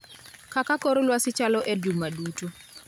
kaka kor lwasi chalo e juma duto